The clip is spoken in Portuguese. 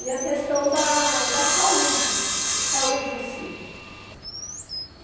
E a questão da da saúde, saúde em si.